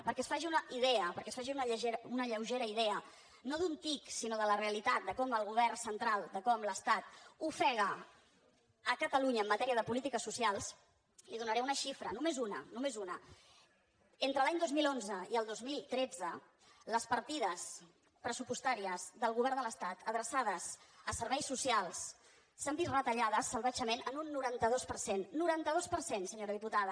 perquè es faci una idea perquè es faci una lleugera idea no d’un tic sinó de la realitat de com el govern central de com l’estat ofega catalunya en matèria de polítiques socials li donaré una xifra només una només una entre l’any dos mil onze i el dos mil tretze les partides pressupostàries del govern de l’estat adreçades a serveis socials s’han vist retallades salvatgement en un noranta dos per cent noranta dos per cent senyora diputada